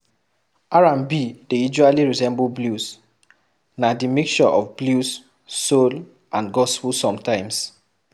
R&B dey usally resemble blues, na di mixture of blues, soul and gospel sometimes